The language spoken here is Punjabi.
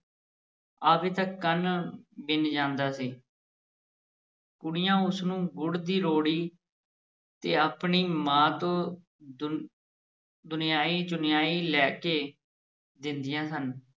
ਆਵੇ ਤਾਂ ਕੰਨ ਵਿੰਨ੍ਹ ਜਾਂਦਾ ਸੀ ਕੁੜੀਆਂ ਉਸ ਨੂੰ ਗੁੜ ਦੀ ਰੋੜੀ ਤੇ ਆਪਣੀ ਮਾਂ ਤੋਂ ਦੁਨ ਦੁਨਆਨੀ-ਚੁਨਆਈ ਲੈ ਕੇ ਦਿੰਦੀਆਂ ਸਨ।